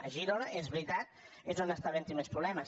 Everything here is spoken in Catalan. a girona és veritat és on està havent hi més problemes